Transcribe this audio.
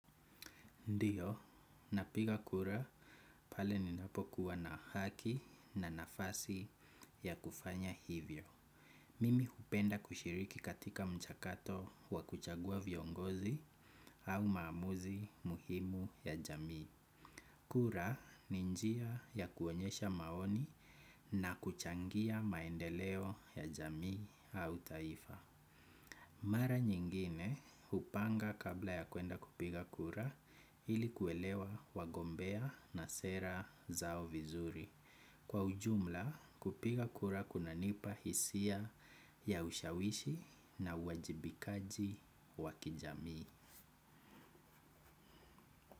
Ndiyo, napiga kura pale ninapokuwa na haki na nafasi ya kufanya hivyo. Mimi hupenda kushiriki katika mchakato wa kuchagua viongozi au maamuzi muhimu ya jamii. Kura ni njia ya kuonyesha maoni na kuchangia maendeleo ya jamii au taifa. Mara nyingine hupanga kabla ya kuenda kupiga kura ili kuelewa wagombea na sera zao vizuri. Kwa ujumla kupiga kura kunanipa hisia ya ushawishi na uwajibikaji wakijamii.